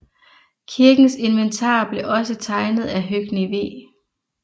Kirkens inventar blev også tegnet af Høgni W